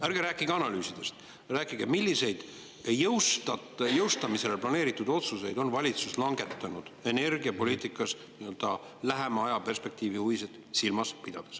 Ärge rääkige analüüsidest, rääkige, milliseid jõustada planeeritud otsuseid on valitsus langetanud energiapoliitikas lähema ajaperspektiivi huvisid silmas pidades.